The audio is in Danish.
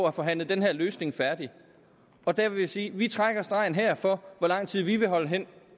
at forhandle den her løsning færdig og jeg vil sige at vi trækker stregen her for hvor lang tid vi vil holdes hen